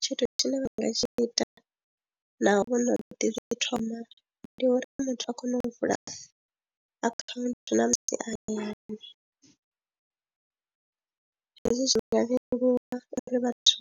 Tshithu tshine vha nga tshi ita naho hu no ḓi zwa u thoma ndi uri muthu a kone u vula akhaunthu na musi a hayani hezwi zwi nga leluwa uri vhathu